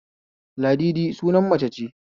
Ladidi sunan mace ce